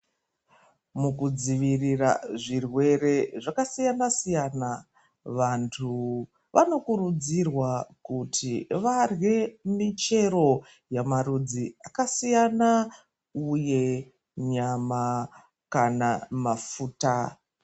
Mukudzivirira zvirwere zvakasiyana-siyana, vantu vanokurudzirwa kuti varye michero yamarudzi akasiyana, uye nyama, kana mafuta.